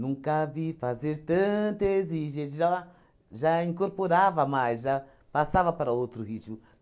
Nunca vi fazer tanta exigência já va já incorporava mais, já passava para outro ritmo.